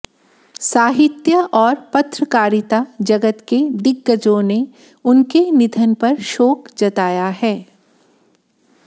साहित्य और पत्रकारिता जगत के दिग्गजों ने उनके निधन पर शोक जताया है